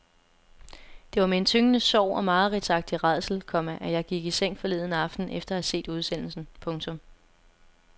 Det var med en tyngende sorg og mareridtsagtig rædsel, komma at jeg gik i seng forleden aften efter at have set udsendelsen. punktum